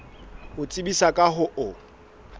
ho tsebisa ka ho o